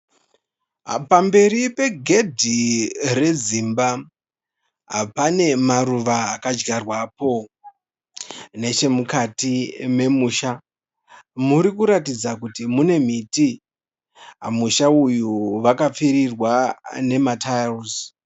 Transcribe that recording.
Pamberi pegedhi redzimba pane maruva akadyarwapo. Nechemukati memusha murikuratidza kuti mune miti. Musha uyu wakapfirirwa nematairisi.